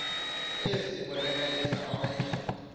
ezi bonakalisa onke